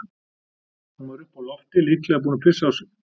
Hún var uppi á lofti, líklega búin að pissa á sig.